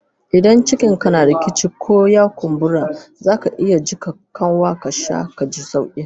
Idan cikin ka rikici, ko ya kumbura, zaka iya jika kanwa ka sha kaji sauki.